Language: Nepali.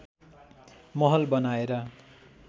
महल बनाएर